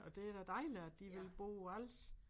Og det da dejligt at de vil bo på Als